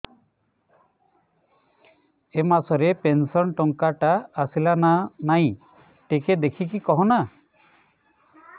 ଏ ମାସ ରେ ପେନସନ ଟଙ୍କା ଟା ଆସଲା ନା ନାଇଁ ଟିକେ ଦେଖିକି କହନା